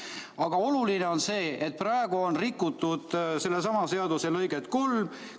Aga oluline on see, et praegu on rikutud selle sama paragrahvi lõiget 3.